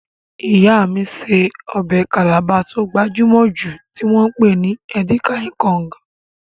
Ìyá mí ṣe ọbẹ̀ Calabar tó gbajúmọ̀ jù tí wọ́n pè ní Edika-ikong